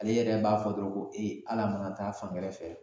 Ale yɛrɛ b'a fɔ dɔrɔn ko ee al'a mankan taa fan wɛrɛ fɛ